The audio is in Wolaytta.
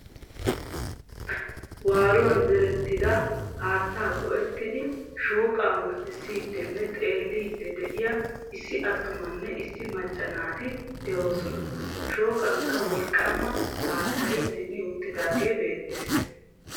Waaruwan zeerettida haattaa go'ettidi shooqaa murttisidinne xeelidi de'iyaa issi atumanne issi macca naati de'ossona. Shoqankka wolqqama haattaay zin'i uttidagge beettes.